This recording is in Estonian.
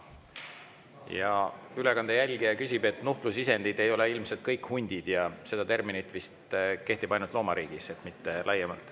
Ja ülekande jälgija, et nuhtlusisendid ei ole ilmselt kõik hundid ja see termin vist kehtib ainult loomariigis, mitte laiemalt.